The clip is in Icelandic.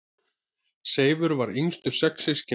Seifur var yngstur sex systkina.